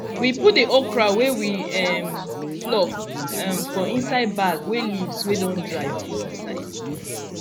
we put the okra wey we um pluck um for inside bag wey leaves wey don dry full insde